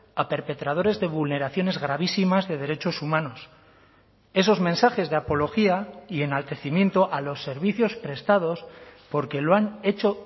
a perpetradores de vulneraciones gravísimas de derechos humanos esos mensajes de apología y enaltecimiento a los servicios prestados porque lo han hecho